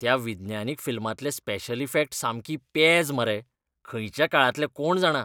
त्या विज्ञानीक फिल्मांतले स्पेशल इफॅक्ट सामकी पेज मरे. खंयच्या काळांतले कोण जाणा.